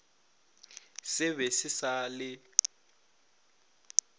se be se sa le